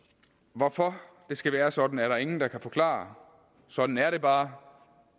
hvorfor det skal være sådan er der ingen der kan forklare sådan er det bare